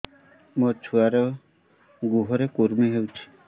ମୋ ଛୁଆର୍ ଗୁହରେ କୁର୍ମି ହଉଚି